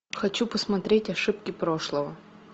хочу посмотреть ошибки прошлого